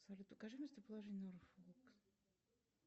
салют укажи местоположение